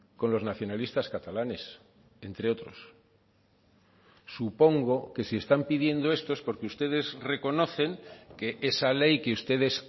con los nacionalistas catalanes entre otros supongo que si están pidiendo esto es porque ustedes reconocen que esa ley que ustedes